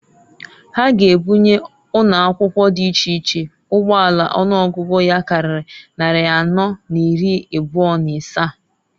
Ha g' ebunye ụnọakwụkwọ dị iche iche ụgbọala ọnụọgụgụ ya karịrị nnarị anọọ n'iri ịbụa n'ịsaa.